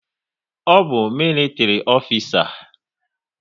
Ọ bụ militri ofisa?